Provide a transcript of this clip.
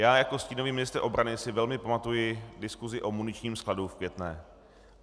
Já jako stínový ministr obrany si velmi pamatuji diskusi o muničním skladu v Květné.